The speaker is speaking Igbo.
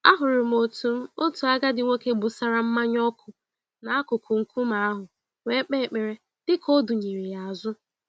Ahụrụ m otu m otu agadi nwoke gbụsara mmanya ọkụ n'akụkụ nkume ahụ wee kpee ekpere, dịka ọdụnyeere yá azụ.